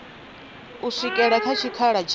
u swikela kha tshikhala tsha